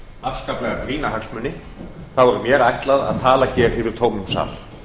afskaplega brýna hagsmuni er mér ætlað að tala hér yfir tómum sal